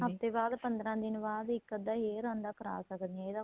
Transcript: ਹੱਫਤੇ ਬਾਅਦ ਪੰਦਰਾਂ ਦਿਨ ਬਾਅਦ ਇੱਕ ਅੱਧਾ hair ਆਂਦਾ ਸਕਦੇ ਹਾਂ ਇਹਦਾ